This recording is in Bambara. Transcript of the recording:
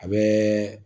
A bɛ